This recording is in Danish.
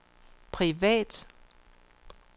privat